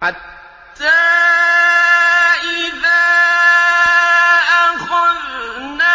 حَتَّىٰ إِذَا أَخَذْنَا